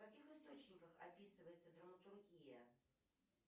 в каких источниках описывается драматургия